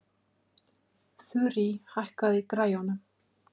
Þurí, hækkaðu í græjunum.